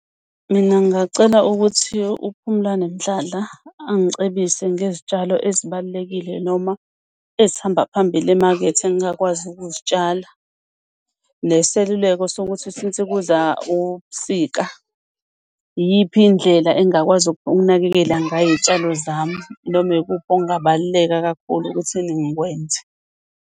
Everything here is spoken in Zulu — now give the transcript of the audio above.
Mina ngingacela ukuthi uPhumlani Mdladla angicebise ngezitshalo ezibalulekile noma ezihamba phambili emakethe engingakwazi ukuzitshala. Neseluleko sokuthi since kuza ubusika, iyiphi indlela engakwazi ukunakekela ngayo iy'tshalo zami? Noma ikuphi okungabaluleka kakhulu ukuthi ngikwenze.